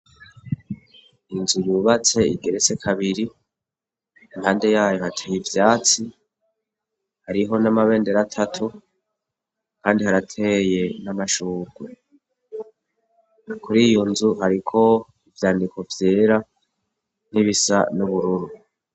Inzu yubatse igeretse kabiri impande yayo hateye ivyatsi hariho n'amabendera atatu kandi harateye n'amashurwe. Kuri iyo nzu hariko ivyandiko vyera nk'ibisa n'ubururu.